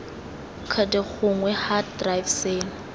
cd gongwe hard drive seno